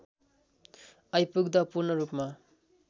आइपुग्दा पूर्णरूपमा